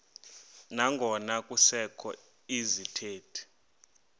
nangona kusekho izithethi